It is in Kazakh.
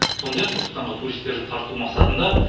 сондай ақ түркістанға туристерді тарту мақсатында